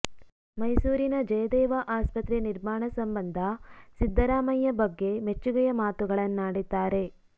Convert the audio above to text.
ಮೈಸೂರಿನ ಜಯದೇವ ಆಸ್ಪತ್ರೆ ನಿರ್ಮಾಣ ಸಂಬಂಧ ಸಿದ್ದರಾಮಯ್ಯ ಬಗ್ಗೆ ಮೆಚ್ಚುಗೆಯ ಮಾತುಗಳನ್ನಾಡಿದ್ದಾರೆ